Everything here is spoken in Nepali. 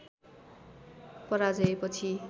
पराजय पछि